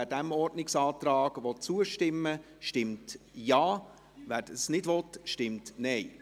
Wer diesem Ordnungsantrag zustimmen will, stimmt Ja, wer dies nicht will, stimmt Nein.